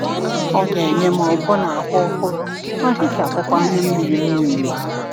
Ọ ga-enye m ọbụna ahụ ọhụrụ ma hichapụkwa anya mmiri m niile.